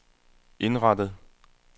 indrettet